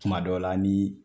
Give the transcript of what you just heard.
Kuma dɔ la ni